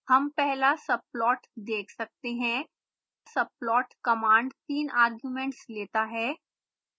हम पहला subplot देख सकते हैं subplot कमांड तीन arguments लेता है